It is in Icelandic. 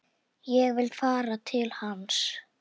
Ég vil fara til hans.